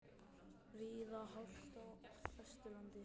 Víða hált á Vesturlandi